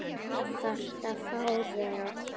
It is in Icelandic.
Þarftu að fá þau?